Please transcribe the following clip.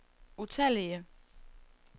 utallige